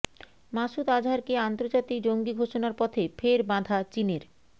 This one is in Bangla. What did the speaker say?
মাসুদ আজহারকে আন্তর্জাতিক জঙ্গি ঘোষণার পথে ফের বাধা চীনের